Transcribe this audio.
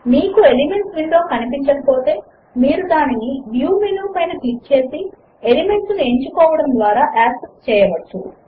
మీకు elements window కనిపించకపోతే మీరు దానిని వ్యూ మెనూ పై క్లిక్ చేసి ఎలిమెంట్స్ ను ఎంచుకోవడము ద్వారా యాక్సెస్ చేయవచ్చు